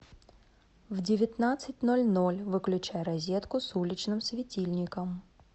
в девятнадцать ноль ноль выключай розетку с уличным светильником